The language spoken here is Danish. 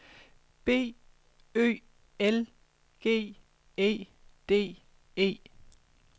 B Ø L G E D E